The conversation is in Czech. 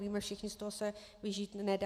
Víme všichni, z toho se vyžít nedá.